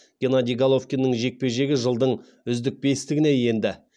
геннадий головкиннің жекпе жегі жылдың үздік бестігіне енді